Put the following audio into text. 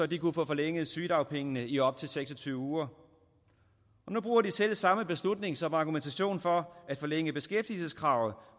de kunne få forlænget sygedagpengene i op til seks og tyve uger og nu bruger de selv samme beslutning som argumentation for at forlænge beskæftigelseskravet